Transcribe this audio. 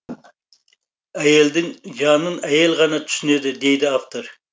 әйелдің жанын әйел ғана түсінеді дейді автор